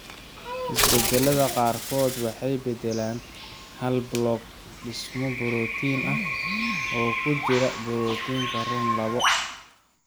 Isbeddellada qaarkood waxay beddelaan hal block dhismo borotiin ah (amino acid) oo ku jira borotiinka RUN labo.